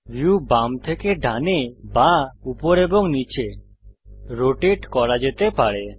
view বাম থেকে ডানে বা উপর এবং নীচে রোটেট করা যেতে পারে